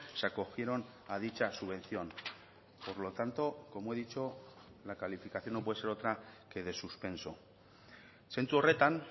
se acogieron a dicha subvención por lo tanto como he dicho la calificación no puede ser otra que de suspenso zentzu horretan